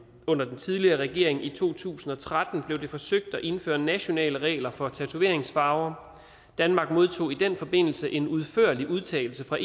under den tidligere regering i to tusind og tretten forsøgt at indføre nationale regler for tatoveringsfarver danmark modtog i den forbindelse en udførlig udtalelse fra